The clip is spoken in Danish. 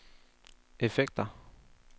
effekter